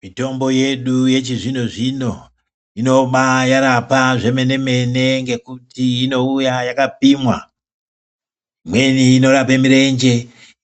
Mitombo yedu yechizvino zvino inobairapa zvemene mene ngekuti inouya yakapimwa .Imweni norapa murenje ,